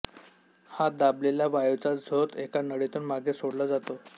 हा दाबलेला वायूचा झोत एका नळीतून मागे सोडला जातो